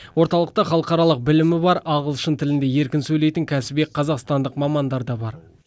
орталықта халықаралық білімі бар ағылшын тілінде еркін сөлейтін кәсіби қазақстандық мамандар да бар